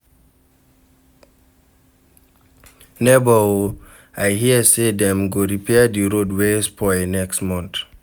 Nebor o, I hear sey dem go repair di road wey spoil next month.